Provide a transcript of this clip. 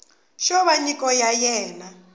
xo va nyiko ya wena